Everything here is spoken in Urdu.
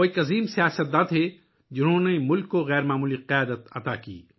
وہ ایک عظیم سیاستدان تھے ، جنہوں نے ملک کو غیر معمولی قیادت دی